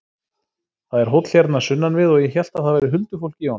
Það er hóll hérna sunnan við og ég hélt að það væri huldufólk í honum.